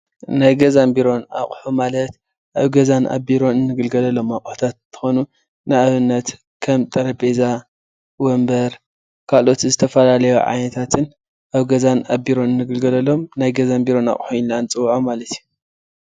ናይ ገዛን ቢሮን ኣቁሑ ማለት ኣብ ገዛን ኣብ ቢሮን እንግልገለሎም ኣቁሕታት እንትኮኑ ንኣብነት ከም ጠረጰዛ፣ ወንበር ካልኦት ዝተፈላለዩ ዓይነታትን ኣብ ገዛን ቢሮን እንግልገለሎም ናይ ገዛን ቢሮን ኣቁሑ ኢልና ንፅወዖም ማለት እዮም፡፡